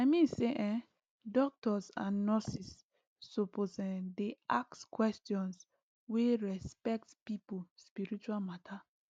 i mean say[um]doctors and nurses suppose[um]dey ask questions wey respect person spiritual matter